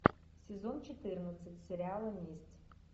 сезон четырнадцать сериала месть